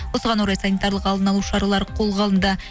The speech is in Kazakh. осыған орай санитарлық алдын алу шаралар қолға алынды